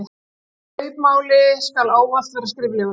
Kaupmáli skal ávallt vera skriflegur.